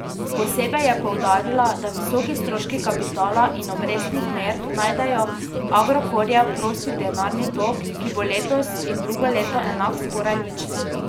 Posebej je poudarila, da visoki stroški kapitala in obrestnih mer najedajo Agrokorjev prosti denarni tok, ki bo letos in drugo leto enak skoraj ničli.